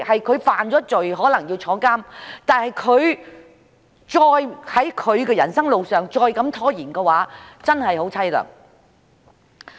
他犯了罪，可能被判監，但如果在他的人生路上再被拖延的話，便真的很淒涼。